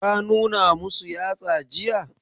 Ka nuna masu yatsa jiya?